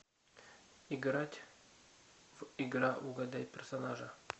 играть в игра угадай персонажа